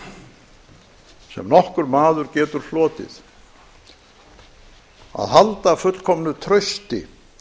sem nokkurr maður getur hlotið að halda fullkomnu trausti